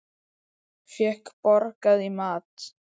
Fékk borgað í mat.